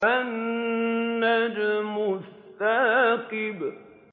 النَّجْمُ الثَّاقِبُ